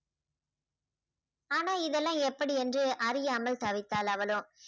ஆனா இதெல்லாம் எப்படி என்று அறியாமல் தவித்தாள் அவளும்